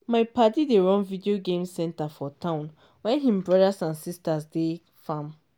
my padi dey run video game centre for town wen him brothers and sisters dey farm.